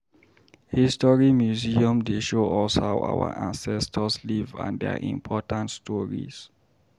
History museum dey show us how our ancestors live and their important stories.